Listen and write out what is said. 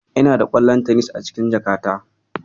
Inada ƙwallon tenis a cikin jakata.